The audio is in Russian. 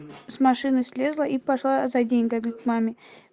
с машины слезла и пошла за деньгами к маме